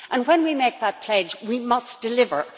When we make that pledge, we must deliver.